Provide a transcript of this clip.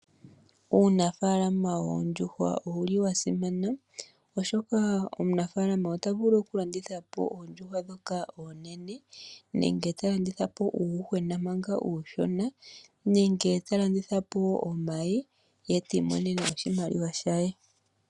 Uunafaalama woondjuhwa owuli wasimana oshoka omunafalama ota vulu okulanditha po oondjuhwa dhoka oonene nenge talanditha po uuyuhwena manga uushona nenge talanditha po omayi ye ti imonene oshimaliwa shaye.